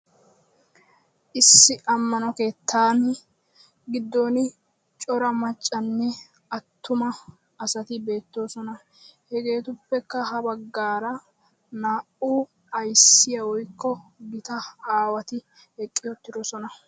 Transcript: Issi amano keettan giddon cora maccanne attuma asati beettoosona; hegetuppekka ha baggara na"u ayssiya woykko gita aawati eqqi uttidoosona.